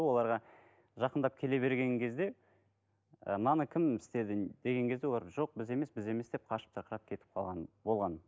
оларға жақындап келе берген кезде мынаны ы кім істеді деген кезде олар жоқ біз емес біз емес деп қашып тырқырап кетіп қалған болған